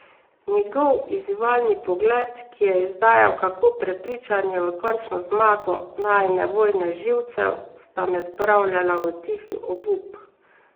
Njegov izzivalni pogled, ki je izdajal kako prepričan je v končno zmago najine vojne živcev, sta me spravljala v tihi obup.